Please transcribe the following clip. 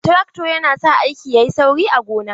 Trakto yana sa aiki yayi sauri a gona.